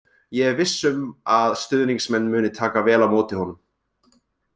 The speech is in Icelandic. Ég er viss um að stuðningsmenn muni taka vel á móti honum.